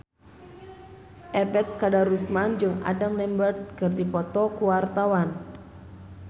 Ebet Kadarusman jeung Adam Lambert keur dipoto ku wartawan